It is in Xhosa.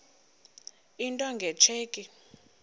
into nge tsheki